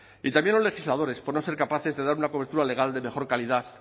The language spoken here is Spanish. y también los legisladores por no ser capaces de dar una cobertura legal de mejor calidad